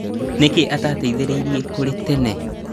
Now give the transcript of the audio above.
Nĩkĩ atateithirie kũrĩ tene?